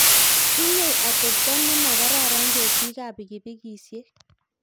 tinyei atebtoo nemakararan ketikab pikipikisiek